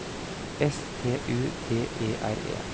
S T U D E R E